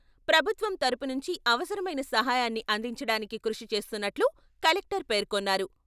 ప్రభుత్వం తరుపు నుంచి అవసరమైన సహాయాన్ని అందించడానికి కృషి చేస్తున్నట్లు కలెక్టర్ పేర్కొన్నారు.